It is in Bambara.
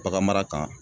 Bagan mara kan